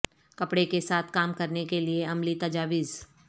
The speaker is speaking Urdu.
کپڑے کے ساتھ کام کرنے کے لئے عملی تجاویز